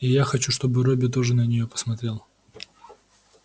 и я хочу чтобы робби тоже на нее посмотрел